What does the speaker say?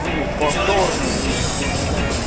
буду повторно рыть сука